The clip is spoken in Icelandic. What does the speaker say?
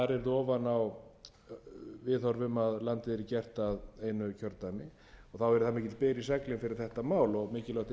landið yrði gert að einu kjördæmi og þá yrði það mikill byr í seglin